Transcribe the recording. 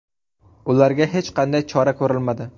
Ularga hech qanday chora ko‘rilmadi.